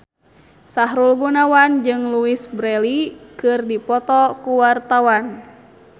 Sahrul Gunawan jeung Louise Brealey keur dipoto ku wartawan